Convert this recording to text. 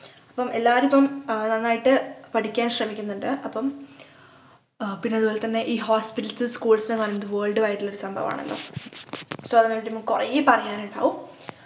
ഇപ്പം എല്ലാവരും ഇപ്പം ഏർ നന്നായിട്ട് പഠിക്കാൻ ശ്രമിക്കുന്നുണ്ട് അപ്പം ആഹ് പിന്നെ അതുപോലെ തന്നെ ഈ hospitals schools ന്നു പറഞ്ഞത് world wide ഉള്ള ഒരു സംഭവാണല്ലോ so അതായത് ഇപ്പം കുറേ പറയാനിണ്ടാകും